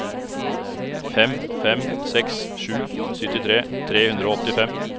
fem fem seks sju syttitre tre hundre og åttifem